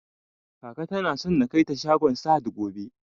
Kaka tana so na kaita shagon sahad gobe